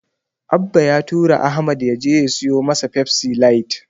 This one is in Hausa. Abba ya tura Ahmad ya je ya siyo masa Pepsi light.